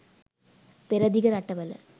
පෙරදිග රටවල